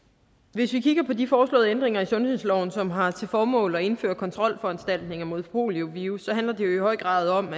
hvis vi kigger på de foreslåede ændringer i sundhedsloven som har til formål at indføre kontrolforanstaltninger mod poliovirus handler det jo i høj grad om